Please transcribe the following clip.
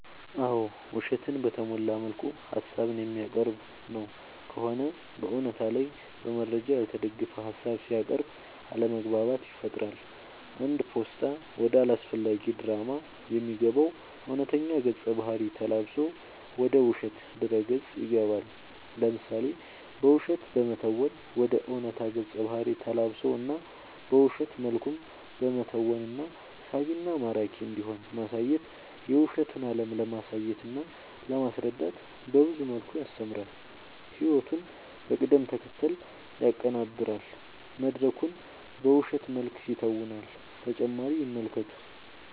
አዎ ውሸትን በተሞላ መልኩ ሀሳብን የሚያቀርብ ነው ከሆነ በእውነታ ላይ በመረጃ ያልተደገፈ ሀሳብ ሲያቅርብ አለማግባባት ይፈጥራል አንድ ፓስታ ወደ አላስፈላጊ ድራማ የሚገባው እውነተኛ ገፀ ባህርይ ተላብሶ ወደ ውሸት ድረ ገፅ ይገባል። ለምሳሌ በውሸት በመተወን ወደ ዕውነታ ገፀ ባህሪ ተላብሶ እና በውሸት መልኩም በመተወን እና ሳቢና ማራኪ እንዲሆን ማሳየት የውሸቱን አለም ለማሳየትና ለማስረዳት በብዙ መልኩ ያስተምራል ህይወቱን በቅደም ተከተል ያቀናብራል መድረኩን በውሸት መልክ ይተውናል።…ተጨማሪ ይመልከቱ